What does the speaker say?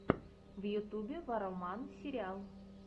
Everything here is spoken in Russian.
в ютьюбе варроман сериал